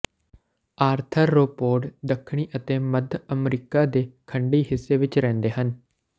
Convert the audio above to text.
arthropod ਦੱਖਣੀ ਅਤੇ ਮੱਧ ਅਮਰੀਕਾ ਦੇ ਖੰਡੀ ਹਿੱਸੇ ਵਿਚ ਰਹਿੰਦੇ ਹਨ